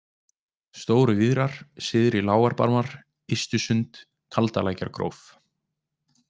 Stóru-Víðrar, Syðri-Lágarbarmar, Ystsund, Kaldalækjargróf